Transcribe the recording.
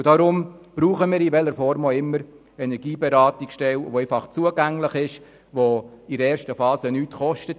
Darum brauchen wir – in welcher Form auch immer – Energieberatungsstellen, die einfach zugänglich sind und in der ersten Phase nichts kosten.